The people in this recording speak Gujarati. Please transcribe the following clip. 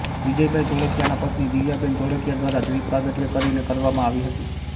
વિજયભાઇ ધોળકીયાના પત્નિ દિવ્યાબેન ધોળકીયા દ્વારા દિપ પ્રાગટય કરીને કરવામાં આવી હતી